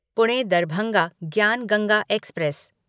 Pune Darbhanga Gyan Ganga express